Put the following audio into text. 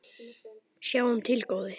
Sjáum til, góði.